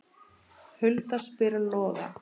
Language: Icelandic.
Hulda spyr Loga